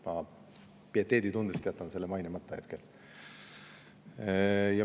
Pieteeditundest jätan selle hetkel mainimata.